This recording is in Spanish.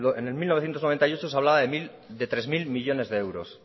en mil novecientos noventa y ocho se hablaba de tres mil millónes de euros